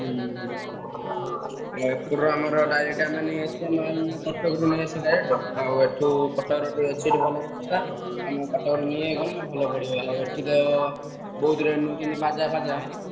ହୁଁ ହୁଁ ଏପଟୁ ଆମେ direct ଆମେ ସେ ମାଲ ।